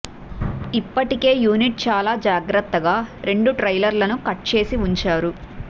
ఇప్పటికే యూనిట్ చాలా జాగ్రత్తగా రెండు ట్రైలర్లని కట్ చేసి ఉంచారు